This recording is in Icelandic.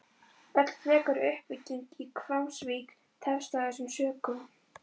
Öll frekari uppbygging í Hvammsvík tefst af þessum sökum.